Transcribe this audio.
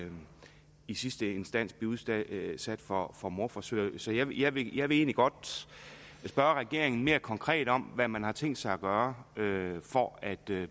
i sidste instans blive udsat for for mordforsøg så jeg vil jeg vil egentlig godt spørge regeringen mere konkret om hvad man har tænkt sig at gøre for at